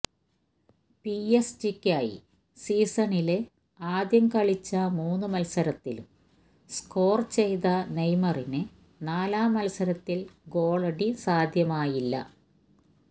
P S ജിക്കായി സീസണില് ആദ്യം കളിച്ച മൂന്ന് മത്സരത്തിലും സ്കോര് ചെയ്ത നെയ്മറിന് നാലാം മത്സരത്തില് ഗോളടി സാധ്യമായില്ല